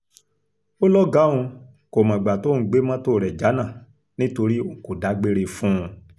ó lọ́gàá òun kò mọ̀gbà tóun gbé mọ́tò rẹ̀ jánà nítorí òun kò dágbére fún un